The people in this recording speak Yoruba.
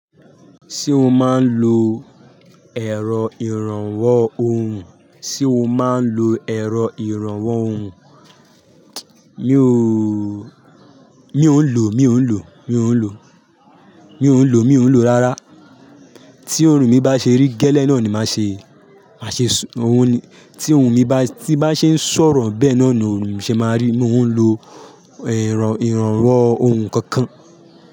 Ṣé o máa ń lo èrò ìrànwọ́ ohùn? Sé o máa ń lo èrò ìrànwọ́ ohùn? Mi ò, mi ò ń lò, mi ò ń lò, mi ò ń lò, mi ò ń lò, mi ò ń lò rárá. Tí òòrùn mi bá ṣe rí gẹ́lẹ́ náà ni màá ṣe, màá ṣe ohun ni. Tí ohùn mi bá, tí bá ṣe ń sọ̀rọ̀ bẹ́ẹ̀ náà ni òhùn mi ṣe máa rí. Mi ò ń lo èrò ìrànwọ́ ohùn kankan.